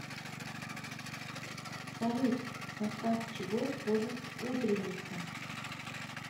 салют в состав чего входит утренница